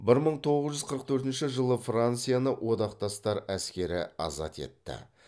бір мың тоғыз жүз қырық төртінші жылы францияны одақтастар әскері азат етті